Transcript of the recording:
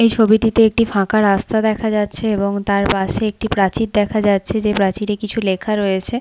এই ছবিটিতে একটি ফাঁকা রাস্তা দেখা যাচ্ছে এবং তার পাশে একটি প্রাচীর দেখা যাচ্ছে যে প্রাচীরে কিছু লেখা রয়েছে ।